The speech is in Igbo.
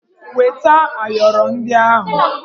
Weta ayọrọ ndị ahụ!